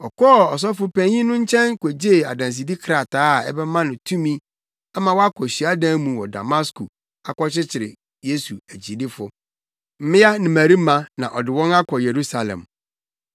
Ɔkɔɔ Ɔsɔfopanyin no nkyɛn kogyee adansedi krataa a ɛbɛma no tumi ama wakɔ hyiadan mu wɔ Damasko akɔkyekyere Yesu akyidifo, mmea ne mmarima, na ɔde wɔn akɔ Yerusalem.